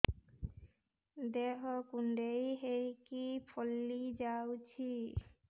ଦେହ କୁଣ୍ଡେଇ ହେଇକି ଫଳି ଯାଉଛି